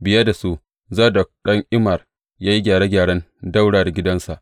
Biye da su, Zadok ɗan Immer ya yi gyare gyaren ɗaura da gidansa.